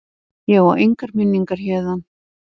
Ég á engar minningar héðan.